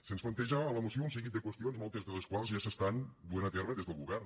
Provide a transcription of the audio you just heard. se’ns planteja a la moció un seguit de qüestions moltes de les quals ja s’estan duent a terme des del govern